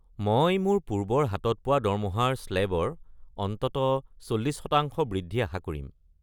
মই মোৰ পূৰ্বৰ হাতত পোৱা দৰমহাৰ স্লে'বৰ অন্ততঃ ৪০% বৃদ্ধি আশা কৰিম।